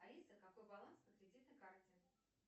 алиса какой баланс на кредитной карте